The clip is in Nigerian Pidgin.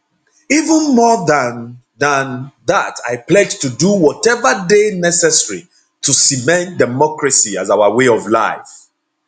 even more dan dan dat i pledge to do whatever dey necessary to cement democracy as our way of life